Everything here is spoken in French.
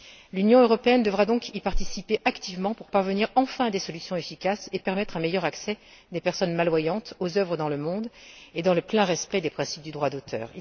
L'Union européenne devra donc y participer activement pour parvenir enfin à des solutions efficaces et permettre un meilleur accès des personnes malvoyantes aux œuvres dans le monde et dans le plein respect des principes du droit d'auteur.